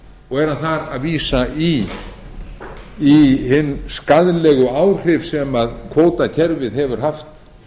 og er hann þar að vísa í hin skaðlegu áhrif sem kvótakerfið hefur haft